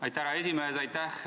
Aitäh, härra esimees!